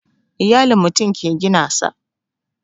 Iyalin mutum ke gina sa